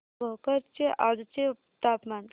भोकर चे आजचे तापमान